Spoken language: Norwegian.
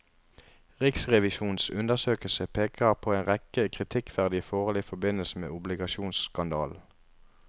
Riksrevisjonens undersøkelse peker på en rekke kritikkverdige forhold i forbindelse med obligasjonsskandalen.